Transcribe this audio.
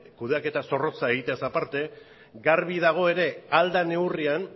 kudeaketa zorrotza egiteaz aparte garbi dago ere ahal den neurrian